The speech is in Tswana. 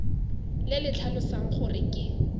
le le tlhalosang gore ke